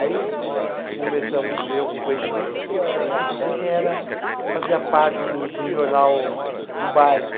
Aí conversamos eu com o conhecimento, descobri quem era, fazia parte do do jornal do bairro.